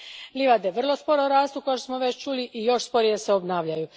Livade vrlo sporo rastu, kao što smo već čuli, i još sporije se obnavljaju.